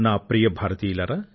ప్రియమైన నా దేశ వాసులారా